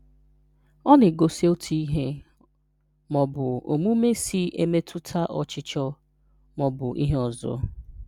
Ọ na-egosi otu ihe ma ọ bụ omume si emetụta ọchịchọ ma ọ bụ ihe ọzọ.